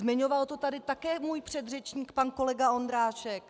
Zmiňoval to tady také můj předřečník pan kolega Ondráček.